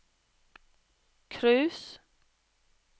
cruise